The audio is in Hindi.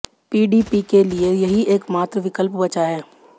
पीडीपी के लिये यही एकमात्र विकल्प बचा है